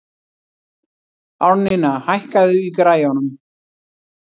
Árnína, hækkaðu í græjunum.